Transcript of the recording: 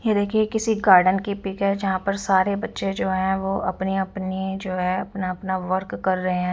यह देखिए किसी गार्डन की पिक है जहां पर सारे बच्चे जो हैं वो अपनी अपनी जो है अपना अपना वर्क कर रहे हैं।